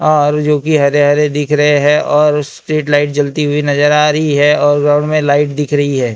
और जो कि हरे हरे दिख रहे हैं और स्ट्रीट लाइट जलती हुई नजर आ रही है और राउंड में लाइट दिख रही है।